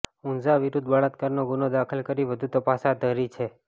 ઊંઝા વિરૂધ્ધ બળાત્કારનો ગુનો દાખલ કરી વધુ તપાસ હાથ ધરી છે